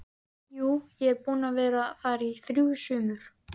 Jú, ég er búinn að vera þar í þrjú sumur